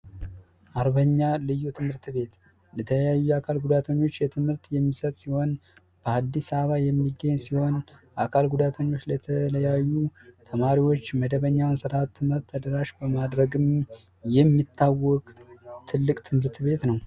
አርበኛ ልዩ ትምህርት ቤት ተለያዩ የአካል ጉዳተኛ ተማሪዎች ትምህርት የሚሰጥ ሲሆን በአዲስ አበባ የሚገኝ ሲሆን ለአካል ጉዳተኞች የተለያዩ ተማሪዎች መደበኛ ትምህርት ስርዓትን ተደራሽ በማድረግ የሚታወቅ ትልቅ ትምህርት ቤት ነው።